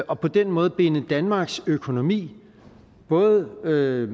og på den måde binder danmarks økonomi både med